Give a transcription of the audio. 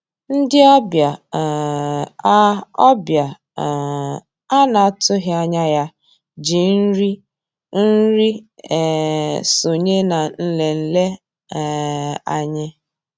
Ndị́ ọ̀bịá um á ọ̀bịá um á ná-àtụ́ghị́ ànyá yá jì nrí nri um sonyéé ná nlélè um ànyị́.